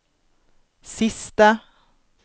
siste